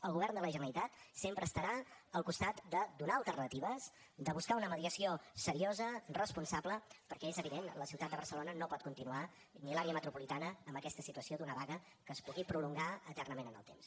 el govern de la generalitat sempre estarà al costat de donar alternatives de buscar una mediació seriosa responsable perquè és evident la ciutat de barcelona no pot continuar ni l’àrea metropolitana amb aquesta situació d’una vaga que es pugui prolongar eternament en el temps